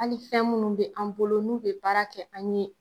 Ali fɛn munnu be an bolo n'u be baara kɛ an ye